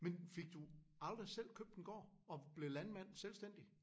Men fik du aldrig selv købt en gård og blev landmand sælvstændig?